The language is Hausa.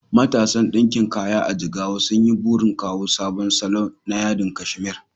Matasan ɗinkin kaya a Jigawa sun yi burin kawo sabon salo na yadin kashmir